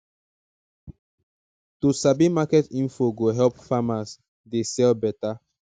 to sabi market info go help farmers dey sell beta